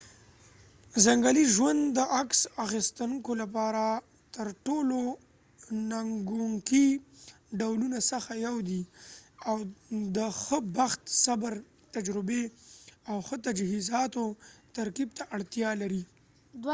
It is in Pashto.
ځنګلي ژوند د عکس اخیستونکو لپاره ترټولو ننګونکي ډولونه څخه یو دی او د ښه بخت صبر تجربې او ښه تجهیزاتو ترکیب ته اړتیا لري